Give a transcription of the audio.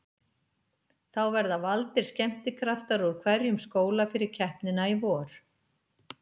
Þá verða valdir skemmtikraftar úr hverjum skóla fyrir keppnina í vor.